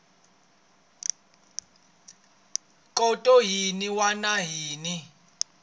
khoto yin wana na yin